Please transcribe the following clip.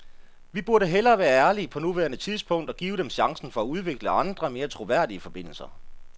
Vi burde hellere være ærlige på nuværende tidspunkt og give dem chancen for at udvikle andre, mere troværdige forbindelser.